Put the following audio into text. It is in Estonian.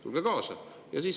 Tulge kaasa!